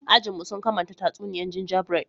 Ajin mu, sun kamanta tatsuniya gingerbread.